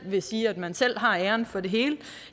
vil sige at man selv har æren for det hele